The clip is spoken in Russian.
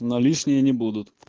но лишние не будут